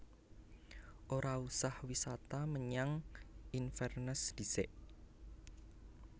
Ora usah wisata menyang Inverness ndhisik